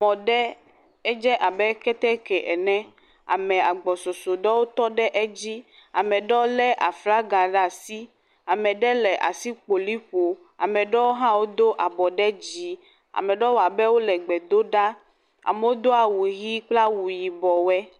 Mɔ ɖe, edze abe ketekɛ ene, ame agbo sɔsɔ ɖe tɔ ɖe edzi. Ame aɖewo lé aflaga ɖe asi, ame aɖe le asikpoli ƒom, ame aɖewo hã do abɔ ɖe dzi, ame aɖewo wɔ abe wole gbe dom ɖa. Amewo do awu ʋi kple awu yibɔ wo.